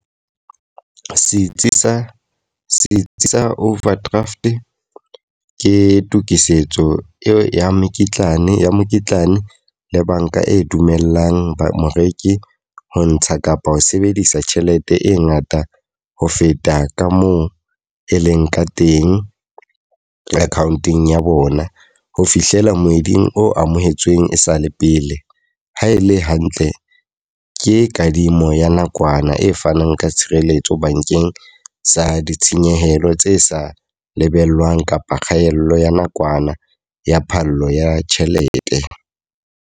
Setsi sa setsi sa overdraft ke tokisetso eo ya mekitlane ya mokitlane le banka e dumellang ba moreki ho ntsha kapa ho sebedisa tjhelete e ngata ho feta ka moo e leng ka teng account-ong ya bona. Ho fihlela moeding o amohetsweng e sa le pele. Ha e le hantle, ke kadimo ya nakwana e fanang ka tshireletso bankeng sa ditshenyehelo tse sa lebellwang kapa kgaello ya nakwana ya phallo ya tjhelete.